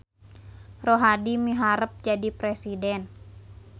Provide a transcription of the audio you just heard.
Rohadi miharep jadi presiden